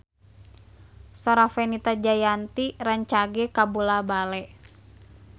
Sora Fenita Jayanti rancage kabula-bale